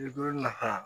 Liberiya